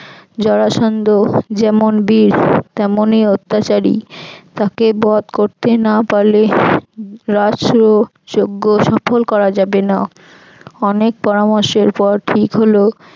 যরাসন্ধ যেমন বীর তেসনই অত্যাচারী তাকে বধ করতে না পারলে রাষ্ট্র যঞ্জ সফল করা যাবে না। অনেক পরামর্শের পর ঠিক হল